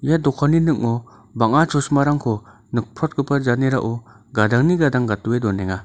ia dokanni ning·o bang·a chosimarangko nikprotgipa janerao gadangni gadang gatdoe donenga.